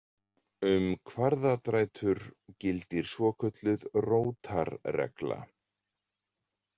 Um kvaðratrætur gildir svokölluð rótarregla.